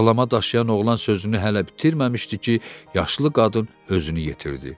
Bağlama daşıyan oğlan sözünü hələ bitirməmişdi ki, yaşlı qadın özünü yetirdi.